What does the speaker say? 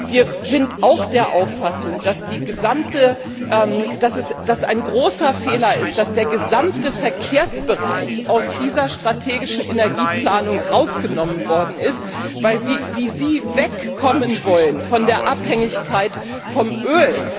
Wir sind auch der Auffassung, dass es ein großer Fehler ist, dass der gesamte Verkehrsbereich aus dieser strategischen Energieplanung herausgenommen worden ist, weil wir wie Sie wegkommen wollen von der Abhängigkeit vom